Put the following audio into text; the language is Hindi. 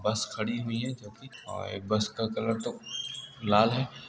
बस खड़ी हुई है जो की और बस का कलर तो लाल है।